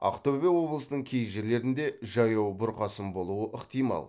ақтөбе облысының кей жерлерінде жаяу бұрқасын болуы ықтимал